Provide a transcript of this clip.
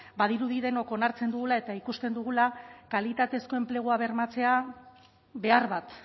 badirudi denok onartzen dugula eta ikusten dugula kalitatezko enplegua bermatzea behar bat